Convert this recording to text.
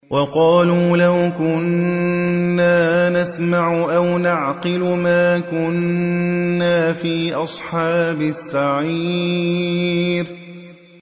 وَقَالُوا لَوْ كُنَّا نَسْمَعُ أَوْ نَعْقِلُ مَا كُنَّا فِي أَصْحَابِ السَّعِيرِ